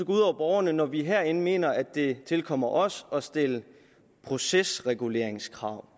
ud over borgerne når vi herinde mener at det tilkommer os at stille procesreguleringskrav